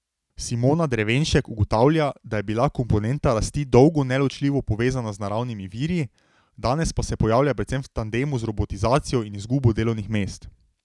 Simona Drevenšek ugotavlja, da je bila komponenta rasti dolgo neločljivo povezana z naravnimi viri, danes pa se pojavlja predvsem v tandemu z robotizacijo in izgubo delovnih mest.